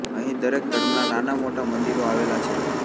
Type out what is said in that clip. અહીં દરેક ધર્મનાં નાનાં મોટાં મન્દિરો આવેલાં છે